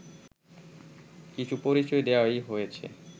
কিছু পরিচয় দেওয়াই হইয়াছে